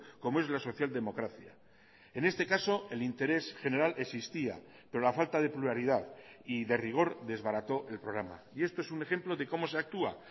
como es la social democracia en este caso el interés general existía pero la falta de pluralidad y de rigor desbarató el programa y esto es un ejemplo de cómo se actúa